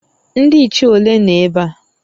Ndị nche ole nọ ebe a?